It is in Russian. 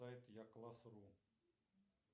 я класс ру